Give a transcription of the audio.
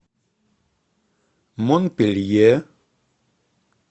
монпелье